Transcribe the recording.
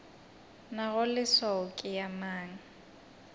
nago leswao ke ya mang